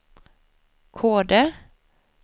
Kode